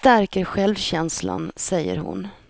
Det stärker självkänslan, säger hon.